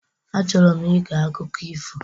Achọrọ m ige akụkọ ifo